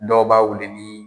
DɔW b'a wuli ni